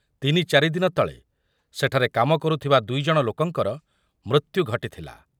ତିନି ଚାରି ଦିନ ତଳେ ସେଠାରେ କାମ କରୁଥିବା ଦୁଇ ଜଣ ଲୋକଙ୍କର ମୃତ୍ୟୁ ଘଟିଥିଲା ।